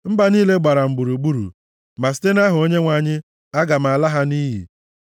Mba niile gbara m gburugburu ma site nʼaha Onyenwe anyị aga m ala ha nʼiyi.